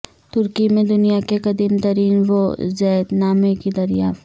ترکی میں دنیا کے قدیم ترین وصیت نامے کی دریافت